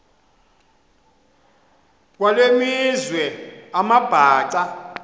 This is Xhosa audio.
kwale meazwe amabhaca